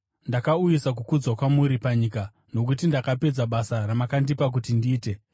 Ndakauyisa kukudzwa kwamuri panyika nokuti ndakapedza basa ramakandipa kuti ndiite.